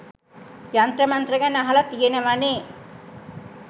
යන්ත්‍ර මන්ත්‍ර ගැන අහල තියෙනවනෙ